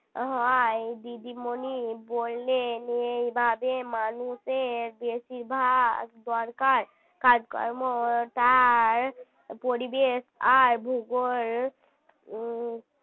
হয় দিদিমণি বললেন এই ভাবে মানুষের বেশিরভাগ দরকার কাজকর্ম তার পরিবেশ আর ভূগোল উম